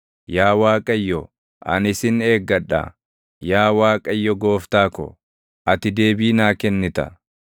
Yaa Waaqayyo, ani sin eeggadha; yaa Waaqayyo Gooftaa ko, ati deebii naa kennita.